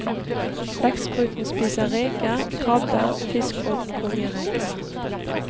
Blekkspruten spiser reker, krabber, fisk og kongereker.